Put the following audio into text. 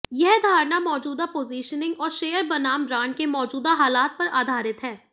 यह धारणा मौजूदा पोजिशनिंग और शेयर बनाम बॉन्ड के मौजूदा हालात पर आधारित है